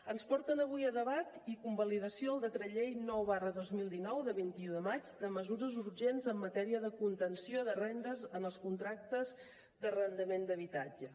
ens porten avui a debat i convalidació el decret llei nou dos mil dinou de vint un de maig de mesures urgents en matèria de contenció de rendes en els contractes d’arrendament d’habitatge